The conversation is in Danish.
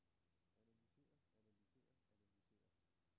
analyser analyser analyser